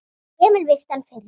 Emil virti hann fyrir sér.